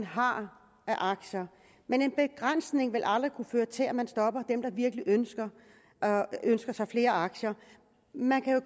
har af aktier men en begrænsning vil aldrig kunne føre til at man stopper dem der virkelig ønsker sig flere aktier man kan jo